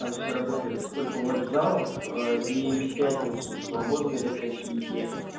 там все работает сколько у вас залов и в пятницу свободны ли какие